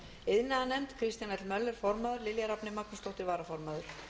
iðnaðarnefnd kristján l möller formaður lilja rafney magnúsdóttir varaformaður